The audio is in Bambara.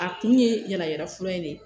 A kun ye yala yalafura in de ye